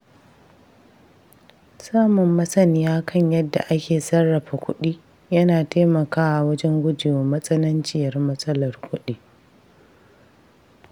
Samun masaniya kan yadda ake sarrafa kuɗi yana taimakawa wajen guje wa matsananciyar matsalar kuɗi.